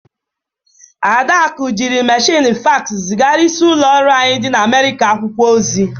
Adaku jiri mmechịnị faks zịgara isi ụlọ ọrụ anyị dị na Amịrịka akwụkwọ ozi